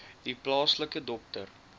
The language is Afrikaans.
u plaaslike dokter